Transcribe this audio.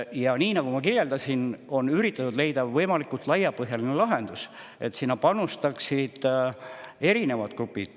Ja nii nagu ma kirjeldasin, on üritatud leida võimalikult laiapõhjaline lahendus, et panuse annaksid erinevad grupid.